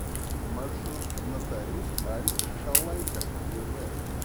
маршрут нотариус аль халайка гв